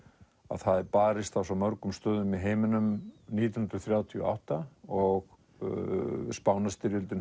það er barist á svo mörgum stöðum í heiminum nítján hundruð þrjátíu og átta og